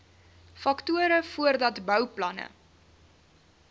faktore voordat bouplanne